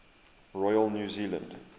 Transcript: royal new zealand